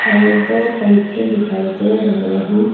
और दो पंखे दिखाई दे रहे हैं।